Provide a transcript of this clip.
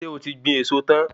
Ṣé o ti gbin èso tan?